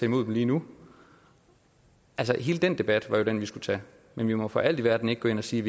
imod dem lige nu altså hele den debat er jo den vi skulle tage men vi må for alt i verden ikke gå ind og sige